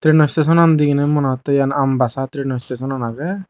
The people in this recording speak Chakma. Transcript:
trano stationan diginay monehoidi eyan ambassa trano stationan aage.